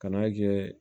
Kan'a kɛ